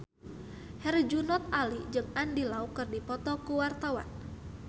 Herjunot Ali jeung Andy Lau keur dipoto ku wartawan